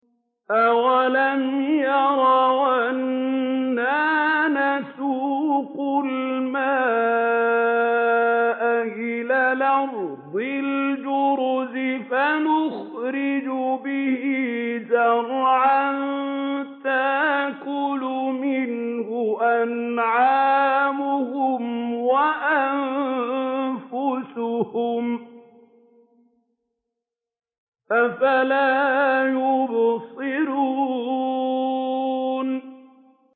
أَوَلَمْ يَرَوْا أَنَّا نَسُوقُ الْمَاءَ إِلَى الْأَرْضِ الْجُرُزِ فَنُخْرِجُ بِهِ زَرْعًا تَأْكُلُ مِنْهُ أَنْعَامُهُمْ وَأَنفُسُهُمْ ۖ أَفَلَا يُبْصِرُونَ